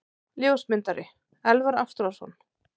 Ljósmyndari: Elvar Ástráðsson.